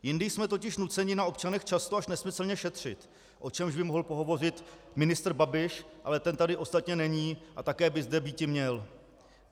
Jindy jsme totiž nuceni na občanech často až nesmyslně šetřit, o čemž by mohl pohovořit ministr Babiš, ale ten tady ostatně není a také by zde býti měl.